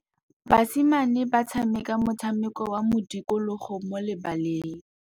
Basimane ba tshameka motshameko wa modikologô mo lebaleng.